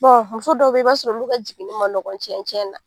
Bɔn muso dɔw be ye i b'a sɔrɔ olu ka jiginni ma ɲɔgɔn cɛncɛn na